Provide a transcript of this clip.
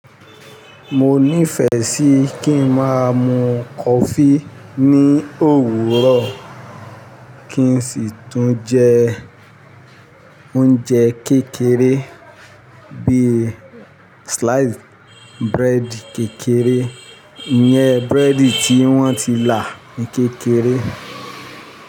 Mo nífẹ̀ẹ́ sí kí n máa mu coffee ní òwúrọ̀ kí n sì tún jẹ oúnjẹ kékeré bíi slice bread kékeré, ìyẹn búrẹ́dì tí wọ́n ti là ní kékeré.